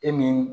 E ni